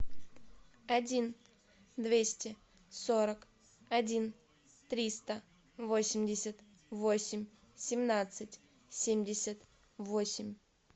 один двести сорок один триста восемьдесят восемь семнадцать семьдесят восемь